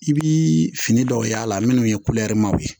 I bi fini dɔw y'a la minnu ye w ye